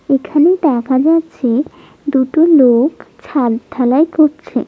এখানে দাখা যাচ্ছে দুটোও লোওক ছাদ ঢালাই করছে।